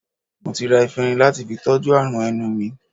Mo ti ra efinrin lati fi tọ́jú àrùn ẹnu mi